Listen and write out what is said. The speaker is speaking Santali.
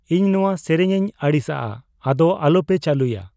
ᱤᱧ ᱱᱚᱣᱟ ᱥᱮᱨᱮᱧ ᱤᱧ ᱟᱹᱲᱤᱥᱟᱜᱼᱟ ᱟᱫᱚ ᱟᱞᱚᱯᱮ ᱪᱟᱹᱞᱩᱭᱟ